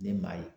Ne maa ye